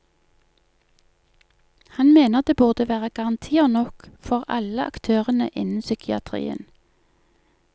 Han mener det burde være garantier nok for alle aktørene innen psykiatrien.